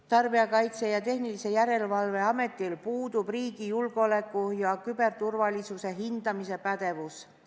Tarbijakaitse ja Tehnilise Järelevalve Ametil puudub riigi julgeoleku ja küberturvalisuse hindamise pädevus.